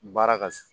Baara ka